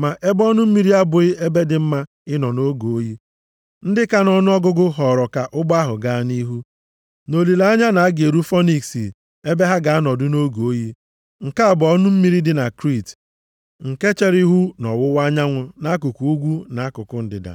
Ma ebe ọnụ mmiri a abụghị ebe dị mma ịnọ nʼoge oyi, ndị ka nʼọnụọgụgụ họọrọ ka ụgbọ ahụ gaa nʼihu, nʼolileanya na a ga-eru Fonikisi ebe ha ga-anọdụ nʼoge oyi. Nke a bụ ọnụ mmiri dị na Kriit, nke chere ihu nʼọwụwa anyanwụ nʼakụkụ ugwu na akụkụ ndịda.